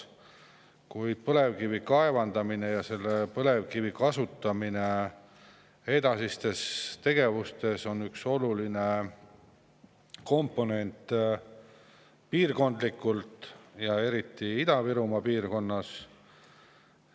Kuid põlevkivi kaevandamine ja selle kasutamine edasistes tegevustes on üks oluline komponent, eriti Ida-Virumaa piirkonnas.